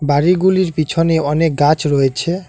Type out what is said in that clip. বাড়িগুলির পিছনে অনেক গাছ রয়েছে।